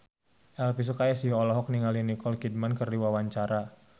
Elvy Sukaesih olohok ningali Nicole Kidman keur diwawancara